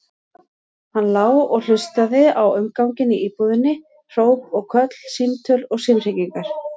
Hann lá og hlustaði á umganginn í íbúðinni, hróp og köll, símtöl, símhringingar.